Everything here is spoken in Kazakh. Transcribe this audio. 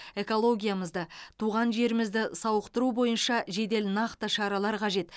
экологиямызды туған жерімізді сауықтыру бойынша жедел нақты шаралар қажет